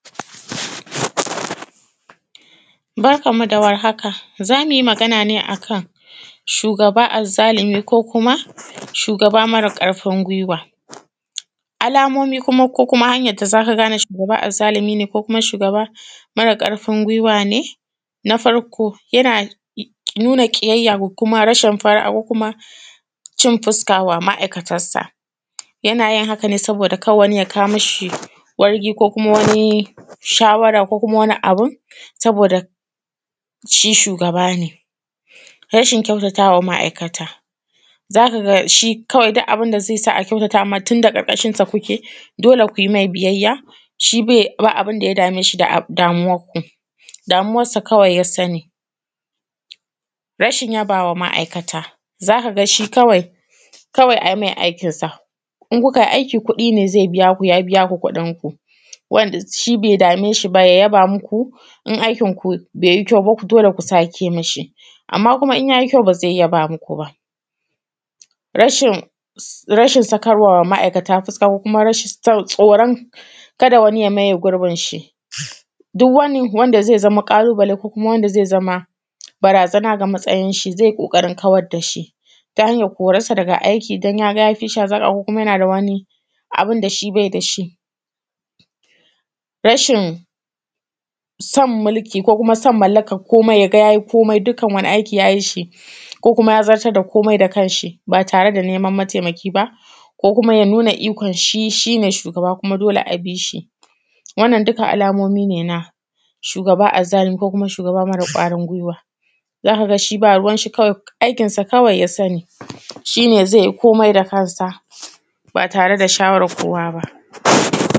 Barkanmu da warhaka za mu yi Magana ne akan shugaba azzalimi ko kuma shugaba mara ƙarfin gwiwa. Alamomi ko kuma hanyan da za ka gane shugaba azzalimi ne ko kuma shugaba mara ƙarfin gwaiwa ne na farko yana nuna ƙiyayya da kuma rashin fara’a ko kuma cin fuska wa ma’aikata yana yin haka ne saboda ka da wani ya kawo mishi wargi ko kuma wani shawara ko kuma wani abun saboda shi shugaba ne, rashin kyautatawa ma’aikata, za ka ga kawai shi duk abin da ze sa a kyautata ma tun da ƙarkashin sa kuke dole ku yi mai biyayya, shi ba abun da ya dame shi da damuwar ku, damuwarsa kawai ya sani rashin yabawa ma’aikata, za ka shi kawai a yi mai aikinsa in ku ka yi aiki kuɗi ne ze biya ku, ya yin ya biya ku kuɗinku wanda shi be dame shi ya yaba muku, in aikin shi be yi kyau ba dole ku sake mishi. Amma kuma in ya yi kyau ba ze yaba muku ba, rashin sakarwa ma’aikata fuska ko kuma rashin tsoron ka da wani ya maye gurbin shi duk wani wanda ze zama ƙalubale ko kuma wanda ze zama barazana ga matsayin shi ze ƙoƙarin kawar da shi ta hanyan koransa daga aiki tan ya ga ya fishi hazaƙa ko kuma yana da wani abun da shi be da shi. Rashin san mulki ko kuma san mallakan komai ya ga ya yi komai dukkan wani aiki ya yi sho ko kuma ya zartar da komai da kansa ba tare da neman mataimaki ba ko kuma ya nuna ikon shi shi ne shugaba kuma dole a bi shi. Wannan dukkan alamomi ne na shugaba azzalimi ko kuma shugaba mara kwarin gwiwa za ka ga shi ba ruwan shi kawai aikin sa ya sani shi ne ze yi komai da kansa ba tare da shawarar kowa ba.